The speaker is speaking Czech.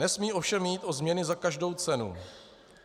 Nesmí ovšem jít o změny za každou cenu.